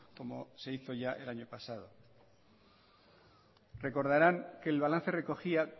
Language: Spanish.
como se hizo ya el año pasado recordaran que el balance recogía